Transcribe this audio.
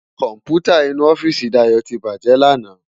Kòmpútá inú òfìsí Dayo ti bájè làná